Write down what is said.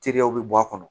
Teriyaw bɛ bɔ a kɔnɔ